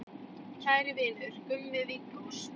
Kæri vinur, Gummi Viggós.